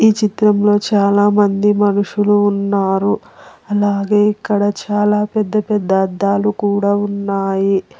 ఈ చిత్రంలో చాలామంది మనుషులు ఉన్నారు అలాగే ఇక్కడ చాలా పెద్ద పెద్ద అద్దాలు కూడా ఉన్నాయి.